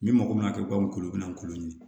Min mago bɛna kɛ u ka n'u bɛna kulo ɲini